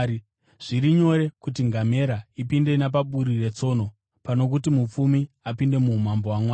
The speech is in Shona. Zviri nyore kuti ngamera ipinde napaburi retsono pano kuti mupfumi apinde muumambo hwaMwari.”